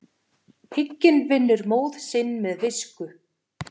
Hygginn vinnur móð sinn með visku.